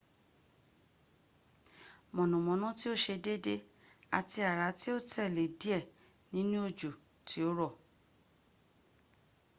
mọ̀nàmọ́ná tí ó ṣe dédé àti àrá ní ó tẹ̀lé díẹ̀ nínu òjò tí ó rọ̀